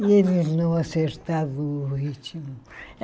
E eles não acertavam o ritmo.